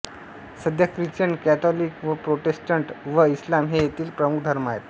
सध्या Christian Catholic व Protestant व इस्लाम हे येथील प्रमुख धर्म आहेत